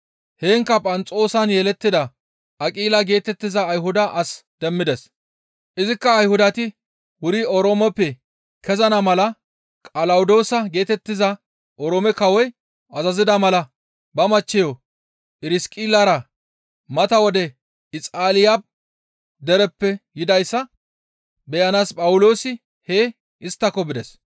Heenkka Phanxoosan yelettida Aqila geetettiza Ayhuda as demmides; izikka Ayhudati wuri Oroomeppe kezana mala Qalawodoosa geetettiza Oroome kawoy azazida mala ba machcheyo Phirsiqillara mata wode Ixaaliya dereppe yidayssa beyanaas Phawuloosi hee isttako bides.